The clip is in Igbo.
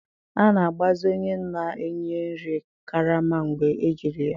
A na-agbazi onye na-enye nri karama mgbe ejiri ya.